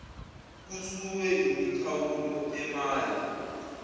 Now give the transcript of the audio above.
kususwe imikhawulo emaye